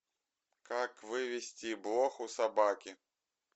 как вывести блох у собаки